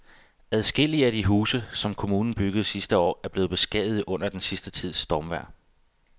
Adskillige af de huse, som kommunen byggede sidste år, er blevet beskadiget under den sidste tids stormvejr.